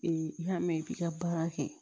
i y'a mɛn i b'i ka baara kɛ